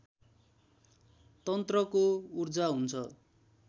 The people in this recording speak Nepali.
तन्त्रको ऊर्जा हुन्छ